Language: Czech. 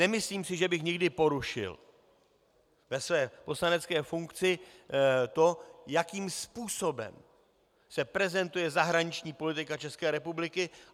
Nemyslím si, že bych někdy porušil ve své poslanecké funkci to, jakým způsobem se prezentuje zahraniční politika České republiky.